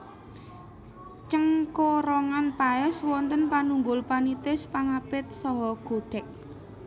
Cengkorongan paès wonten panunggul panitis pangapit saha godhég